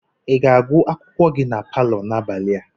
Ị ga-agụ akwụkwọ gị na palọ n'abalị a?